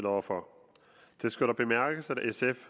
over for det skal dog bemærkes at sf